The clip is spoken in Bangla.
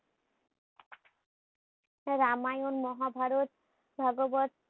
রামায়ণ মহাভারত ভগবৎ